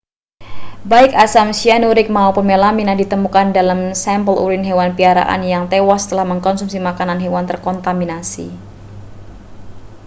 baik asam cyanuric maupun melamina ditemukan dalam sampel urine hewan piaraan yang tewas setelah mengonsumsi makanan hewan terkontaminasi